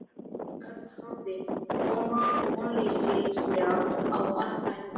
Örn horfði vonleysislega á allt þetta fólk.